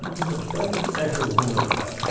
Não com meus pais, foi com meus pais, sim.